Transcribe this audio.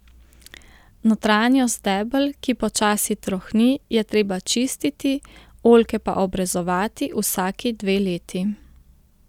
Notranjost debel, ki počasi trohni, je treba čistiti, oljke pa obrezovati vsaki dve leti.